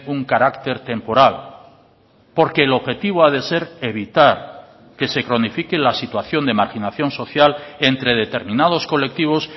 un carácter temporal porque el objetivo ha de ser evitar que se cronifique la situación de marginación social entre determinados colectivos